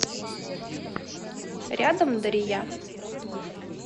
рядом дария